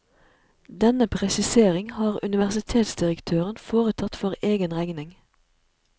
Denne presisering har universitetsdirektøren foretatt for egen regning.